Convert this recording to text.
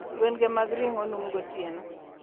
Gwen ge mag ringo noom gotieno